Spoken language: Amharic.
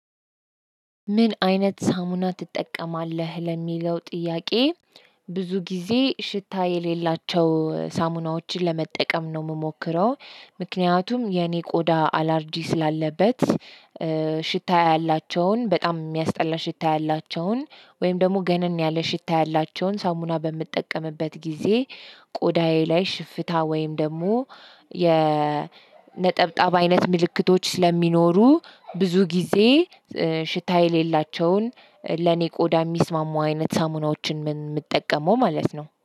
ምን አይነት ሳሙና ትጠቀማለህ ለሚለው ጥያቄ? ብዙ ጊዜ ሽታ የሌላቸው ሳሙናዎችን ለመጠቀም ነው የምሞክረው ምክንያቱም የኔ ቆዳ አላርጂክ ስላለበት። ሽታ ያላቸውን በጣም የሚያስጠላ ሽታ ያላቸውን ወይም ደግሞ ገነን ያለ ሽታ ያላቸውን ሳሙና በምጠቀምበት ጊዜ ቆዳዬ ላይ ሽፍታ ወይም ደግሞ የነጠብጣብ አይነት ምልክቶች ስለሚኖሩ ብዙ ጊዜ። ሽታ የሌላቸውን ለኔ ቆዳ የሚስማሙ አይነት ሳሙናዎችን ምጠቀመው ማለት ነው